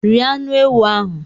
Rie anụ ewụ ahụ!